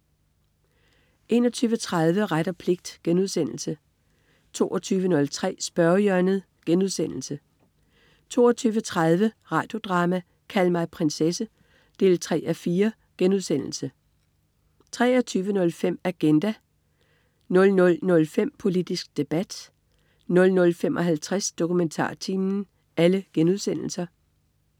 21.30 Ret og pligt* 22.03 Spørgehjørnet* 22.30 Radio Drama: Kald mig prinsesse 3:4* 23.05 Agenda* 00.05 Politisk debat* 00.55 DokumentarTimen*